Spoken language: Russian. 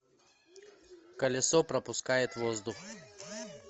колесо пропускает воздух